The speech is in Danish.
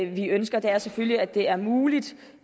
vi ønsker er selvfølgelig at det er muligt